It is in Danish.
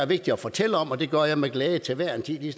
vigtigt at fortælle om og det gør jeg med glæde til hver en tid lige